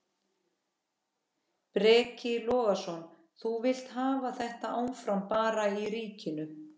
Breki Logason: Þú vilt hafa þetta áfram bara í ríkinu?